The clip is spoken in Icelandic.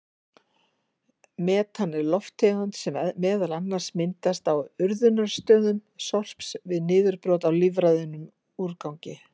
Metan er lofttegund sem meðal annars myndast á urðunarstöðum sorps við niðurbrot á lífrænum úrgangi.